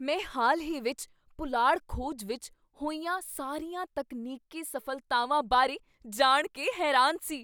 ਮੈਂ ਹਾਲ ਹੀ ਵਿੱਚ ਪੁਲਾੜ ਖੋਜ ਵਿੱਚ ਹੋਈਆਂ ਸਾਰੀਆਂ ਤਕਨੀਕੀ ਸਫ਼ਲਤਾਵਾਂ ਬਾਰੇ ਜਾਣ ਕੇ ਹੈਰਾਨ ਸੀ।